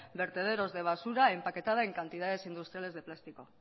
vertederos de basura empaquetada en cantidades industriales de plástico